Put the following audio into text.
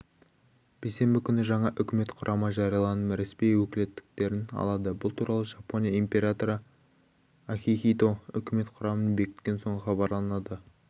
бейсенбі күні жаңа үкімет құрамы жарияланып ресми өкілеттіліктерін алады бұл туралы жапония императоры акихито үкімет құрамын бекіткен соң хабарланады